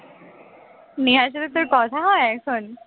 নেহার সাথে তোর কথা হয় এখন